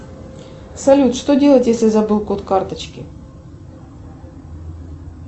салют что делать если забыл код карточки